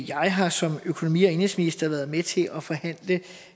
jeg har som økonomi og indenrigsminister været med til at forhandle